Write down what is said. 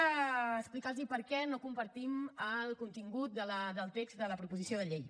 els explicaré per què no compartim el contingut del text de la proposició de llei